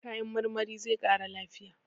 Kayan marmari zai ƙara lafiya.